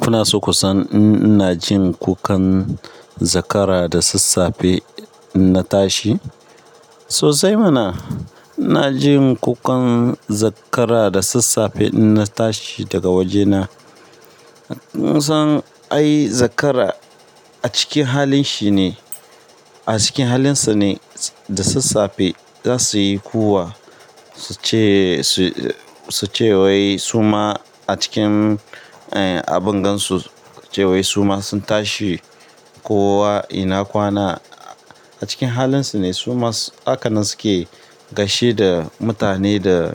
Kuna so ku san in ina jin kukan zakara da sassafe in na tashi? Sosai mana. Ina jin kukan zakara da sassafe in na tashi daga waje na. Kun san ai zakara a cikin halin shi ne, a cikin halinsa ne da sassafe za su yi kuwwa su ce, su ce wai su ma a cikin abungan su suce wai su ma sun tashi kowa ina kwana. A cikin halin su ne su ma haka nan suke gaishe da mutane da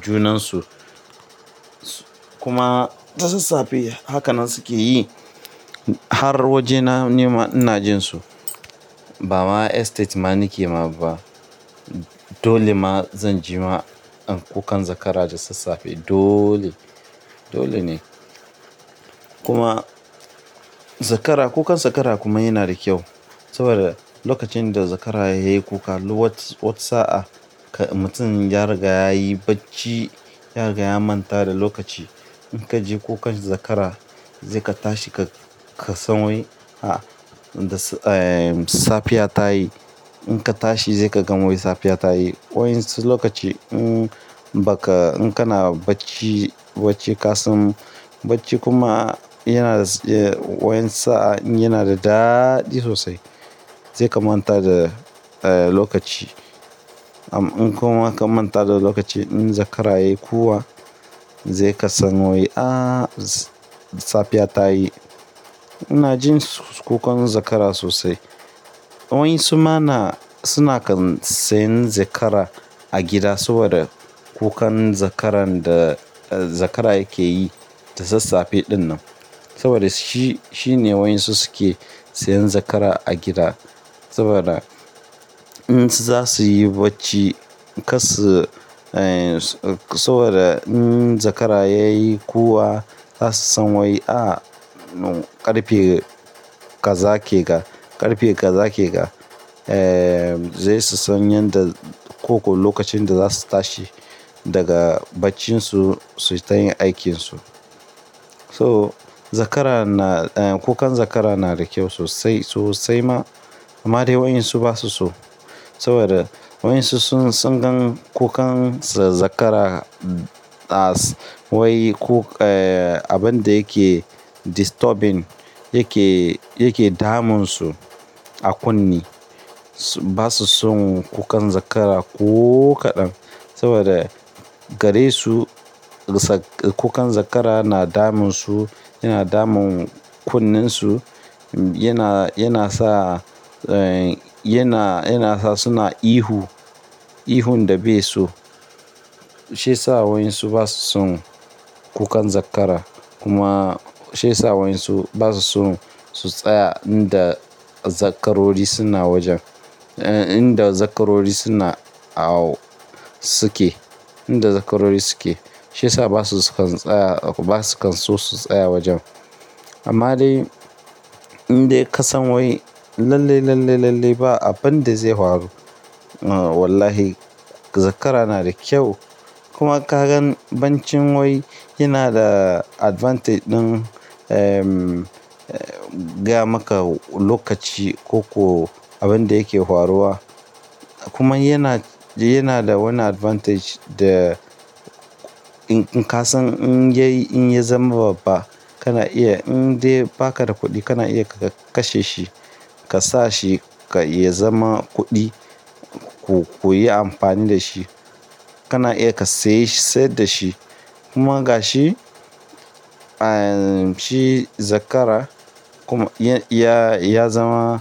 junan su. Kuma da sassafe haka nan suke yi har waje na nima ina jin su. Ba ma estate ma nake ma ba. Dole ma zan ji ma kukan zakara da sassafe dole, dole ne. Kuma zakara, kukan zakara kuma yana da kyau saboda lokacin da zakara ya yi kuka wata sa'a mutum ya riga ya yi bacci, ya riga ya manta da lokaci. In ka ji kukan zakara sai ka tashi ka, ka san wai, safiya ta yi. In ka tashi sai ka gan wai safiya ta yi. Wa'yansu lokaci in baka, in kana bacci, bacci kasan, bacci kuma yana wa'yansu sa'a yana da daɗi sosai. Sai ka manta da lokaci. In kuma ka manta da lokaci in zakara ya yi kuwwa zai ka san wai a safiya ta yi. Ina jin kukan zakara sosai. Wa'yinsu ma na-- suna kan sayan zakara a gida saboda kukan zakaran da zakara yake yi da sassafe ɗin nan. Saboda shi, shi ne wa'yinsu su ke sayan zakara a gida. Saboda in zasuyi bacci kar su, saboda in zakara ya yi kuwwa za su san wai a ƙarfe kaza ke ga, ƙarfe kaza ke ga. Zai su san yadda koko lokacin da za su tashi daga baccin su su yi ta yin aikinsu. So zakara na, kukan zakara na da kyau sosai, sosai ma. Amma dai wa'yin su ba su so saboda wa'yin su sun gan kukan zakara as wai abin da yake disturbing, yake, yake damun su a kunne. Ba su son kukan zakara ko kaɗan saboda gare su kukan zakara na damun su, yana damun kunnen su, yana, yana sa, yana, yana sa suna ihu, ihun da bai so. Shi ya sa wa'yin su ba su son kukan zakara. Kuma shiyasa wa'yin su ba su son su tsaya inda zakarori suna wajen, inda zakarori suna a suke, inda zakarori suke. Shi ya sa ba su kan tsaya, ba su kan so su tsaya wajen. Amma dai in dai ka san wai lalle, lalle, lalle ba abin da zai faru. Wallahi zakara na da kyau. Kuma ka gan bancin wai yana da advantage ɗin gaya maka lokaci ko kuwa abin da yake faruwa. Kuma yana, yana da wani advantage da in ka san in yayi, in ya zama babba kana iya in dai baka da kuɗi kana iya ka kashe shi, ka sa shi ya zama kuɗi. Ku yi amfani da shi. Kana iya ka sayi, saida shi kuma gashi shi zakara kuma ya, ya zama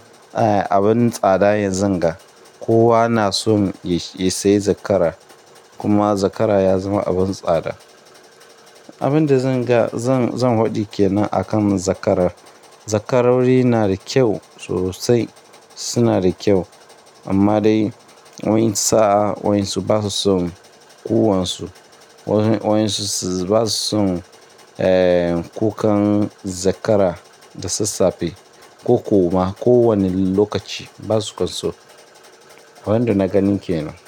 abin tsada yanzu ga kowa na so ya sayi zakara. Kuma zakara ya zama abin tsada. Abin da zan ga, zan, zan faɗi ke nan akan zakara. Zakarori na da kyau sosai. Su na da kyau amma dai wa'yin sa'a wa'yin su ba su son kuwan su. Wa'yin su ba su son kukan zakara da sassafe ko ko ma ko wani lokaci ba su kan so. Wa'inda na gani ke nan.